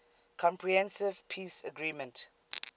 comprehensive peace agreement